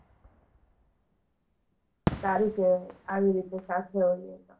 સારું કહેવાય, આવી રીતે સાથે હોઈએ તો,